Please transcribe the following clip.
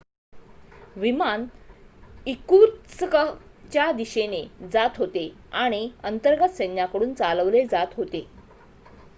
विमान इर्कुत्स्कच्या दिशेने जात होते आणि अंतर्गत सैन्याकडून चालवले जात होते